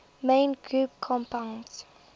main group compounds